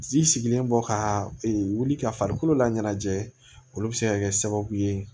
Ji sigilen bɔ ka wuli ka farikolo laɲɛnajɛ olu bi se ka kɛ sababu ye